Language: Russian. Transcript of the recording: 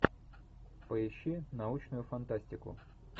поищи научную фантастику